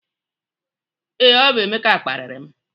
Ee, ọ bụ Emeka kparịrị m